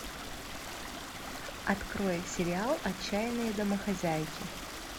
открой сериал отчаянные домохозяйки